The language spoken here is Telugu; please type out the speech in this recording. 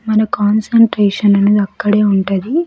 మన కాన్సంట్రేషన్ అనేది అక్కడే ఉంటది.